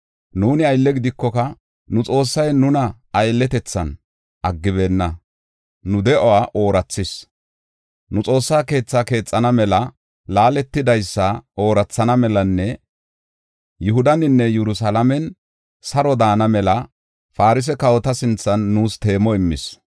Nuuni aylle gidikoka, nu Xoossay nuna aylletethan aggibeenna; nu de7uwa oorathis. Nu Xoossaa keethaa keexana mela, laaletidaysa oorathana melanne Yihudaninne Yerusalaamen saro daana mela Farse kawota sinthan nuus teemo immis.